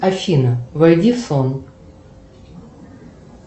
афина войди в сон